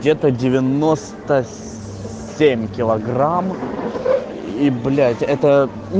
где-то девяноста семь килограмм и блять это